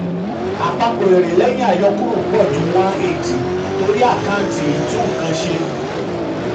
seven èrè seven èrè lẹ́yìn àyọkúrò dín ni fifty torí àkáǹtì ẹ̀dínwó ap.